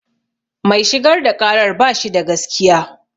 Mai shigar da ƙarar bashi da gaskiya